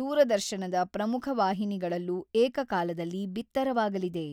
ದೂರದರ್ಶನದ ಪ್ರಮುಖ ವಾಹಿನಿಗಳಲ್ಲೂ ಏಕಕಾಲದಲ್ಲಿ ಬಿತ್ತರವಾಗಲಿದೆ.